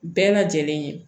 Bɛɛ lajɛlen